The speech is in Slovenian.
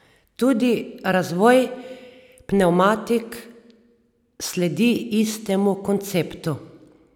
Tudi razvoj pnevmatik sledi istemu konceptu.